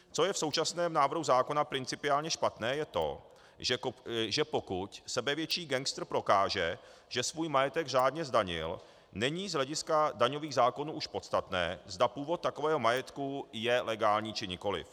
Co je v současném návrhu zákona principiálně špatné, je to, že pokud sebevětší gangster prokáže, že svůj majetek řádně zdanil, není z hlediska daňových zákonů už podstatné, zda původ takového majetku je legální, či nikoliv.